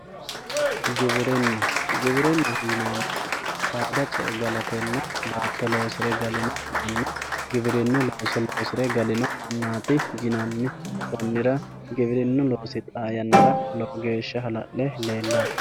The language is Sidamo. giwirinna giwirinnaho yaa saada ce"e galatenna baatto loosire galino manna giwirinnu mannaati yinanni konni daafira giwirinnu loosi tenne yannara lowo geeshsha hala'le leellanno